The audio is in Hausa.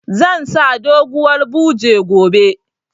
Zan sa doguwar buje gobe